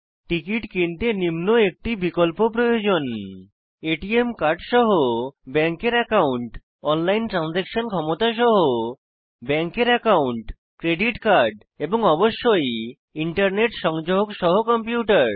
ticket কিনতে নিম্ন একটি বিকল্প প্রয়োজন এটিএম কার্ড সহ ব্যাঙ্কের অ্যাকাউন্ট অনলাইন ট্রানসাকশান ক্ষমতা সহ ব্যাঙ্কের অ্যাকাউন্ট ক্রেডিট কার্ড এবং অবশ্যই ইন্টারনেট সংযোগ সহ কম্পিউটার